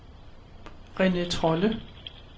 René Trolle